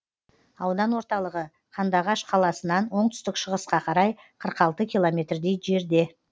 аудан орталығы қандыағаш қаласынан оңтүстік шығысқа қарай қырық алты километрдей жерде